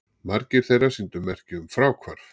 Margir þeirra sýndu merki um fráhvarf